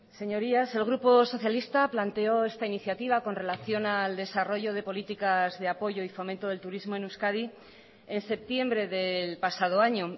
señorías el grupo socialista planteó esta iniciativa con relación al desarrollo de políticas de apoyo y fomento del turismo en euskadi en septiembre del pasado año